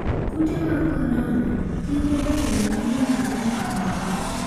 Kute mag korona: tije jotelo manyien Sudan ong'ere.